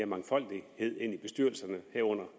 mangfoldighed i bestyrelserne herunder